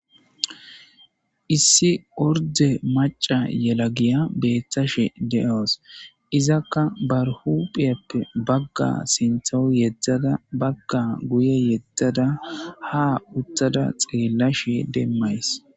Issi ordde maaca yalagiya bettashe de'awusu iizakka ba huphphe bagga sinththawu yeedada bagga guyye yedada ha uttida xellashe demayssi.